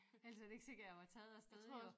Ellers så er det ikke sikkert jeg var taget afsted jo